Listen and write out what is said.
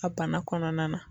A bana kɔnɔna na.